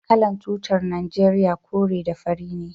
Kalan tutan nageriya kore da fari ne.